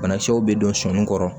Banakisɛw bɛ don sɔɔni kɔrɔ